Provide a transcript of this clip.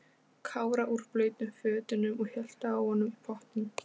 Kára úr blautum fötunum og hélt á honum í pottinn.